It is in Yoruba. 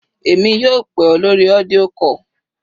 Èmi yóò pè ọ́ lórí audio call.